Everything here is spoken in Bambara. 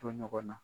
To ɲɔgɔn na